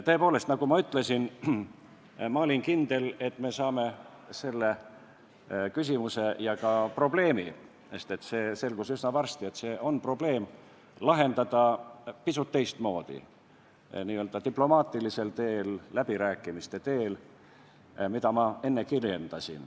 Tõepoolest, nagu ma ütlesin, ma olin kindel, et me saame selle küsimuse ja ka probleemi – sest see selgus üsna varsti, et see on probleem – lahendada pisut teistmoodi, n-ö diplomaatilisel teel, läbirääkimiste teel, mida ma enne kirjeldasin.